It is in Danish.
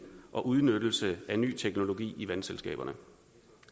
og udnyttelse af ny teknologi i vandselskaberne